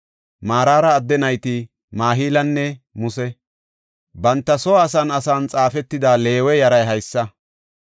Maraara adde nayti Mahilanne Muse. Banta soo asan asan xaafetida Leewe yaray haysa.